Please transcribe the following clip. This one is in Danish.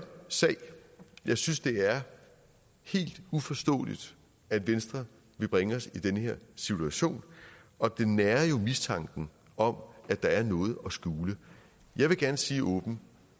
sag jeg synes det er helt uforståeligt at venstre vil bringe os i den her situation og det nærer jo mistanken om at der er noget at skjule jeg vil gerne sige åbent